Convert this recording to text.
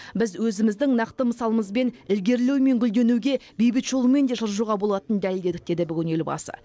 біз өзіміздің нақты мысалымызбен ілгерілеу мен гүлденуге бейбіт жолмен де жылжуға болатынын дәлелдедік деді бүгін елбасы